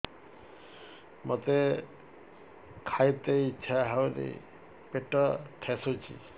ମୋତେ ଖାଇତେ ଇଚ୍ଛା ହଉନି ପେଟ ଠେସୁଛି